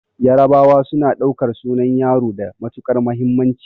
Yarabawa suna ɗaukar sunan yaro da matuƙar muhimmanci